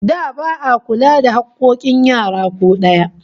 Da ba'a kula da hakkokin yara ko daya